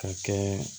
Ka kɛ